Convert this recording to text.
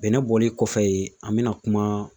Bɛnɛ bɔli kɔfɛ yen an mɛna kuma